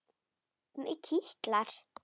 Mig kitlar.